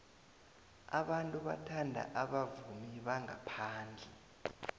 abantu bathanda abavumi bangaphandle